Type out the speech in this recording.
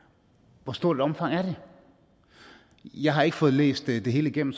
hvor stort et omfang er det jeg har ikke fået læst det det hele igennem